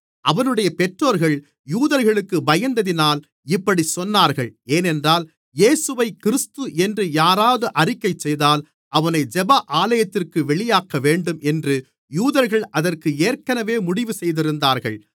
அவனுடைய பெற்றோர்கள் யூதர்களுக்குப் பயந்ததினால் இப்படிச் சொன்னார்கள் ஏனென்றால் இயேசுவைக் கிறிஸ்து என்று யாராவது அறிக்கை செய்தால் அவனை ஜெப ஆலயத்திற்குப் வெளியாக்க வேண்டும் என்று யூதர்கள் அதற்கு ஏற்கனவே முடிவு செய்திருந்தார்கள்